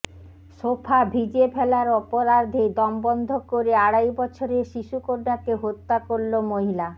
sofa ভিজিয়ে ফেলার অপরাধে দম বন্ধ করে আড়াই বছরের শিশু কন্যাকে হত্যা করল মহিলা